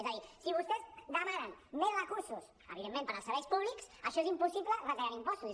és a dir si vostès demanen més recursos evidentment per als serveis públics això és impossible retallant impostos